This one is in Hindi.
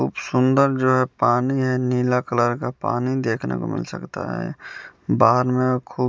खूब सुंदर जो है पानी है नीला कलर का पानी देखने को मिल सकता है बाहर में खूब--